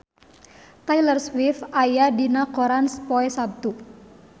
Taylor Swift aya dina koran poe Saptu